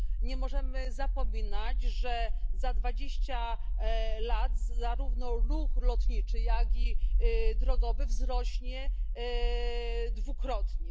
Nie możemy zapominać, że za dwadzieścia lat zarówno ruch lotniczy, jak i drogowy wzrośnie dwukrotnie.